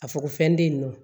A fɔ ko fɛn tɛ yen nɔ